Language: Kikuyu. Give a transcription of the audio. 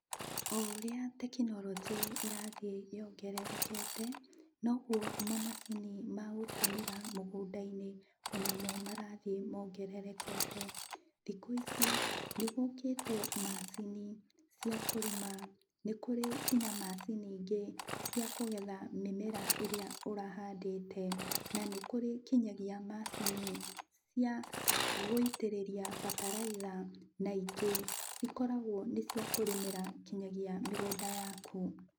O ũrĩa tekinorionjĩ ĩrathiĩ yongererejete noguo mamacini ma gũtũmĩra mũgũnda-inĩ onamo marathiĩ mongererekete. Thikũ ici nĩgũkĩte macini cia kũrĩma, nĩ kũrĩ kinya macini ingĩ cia kũgetha mĩmera ĩrĩa ũrahandĩte. Na nĩ kũrĩ kinyagia macini cia gũitĩrĩria bataraitha, na ingĩ cikoragwo nĩciakũrĩmĩra kinyagia mĩgũnda yaku.